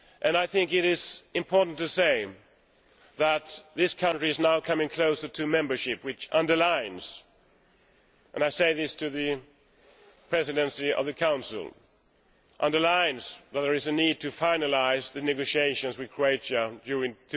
I think it is important to say that this country is now coming closer to membership, which underlines and I say this to the Presidency of the Council that there is a need to finalise the negotiations with Croatia during